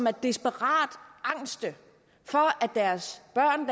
er desperat angste for deres børn